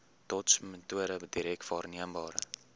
dotsmetode direk waarneembare